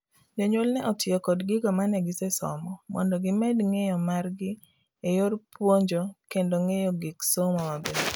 jonyuol ne otiyo kod gigo mane gise somo mondo gimed ng'eyo mar gi e yor puonjokendo ng'eyo gik somo maber